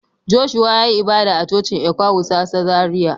Joshua ya yi ibada a Cocin Ecwa wusasa Zaria.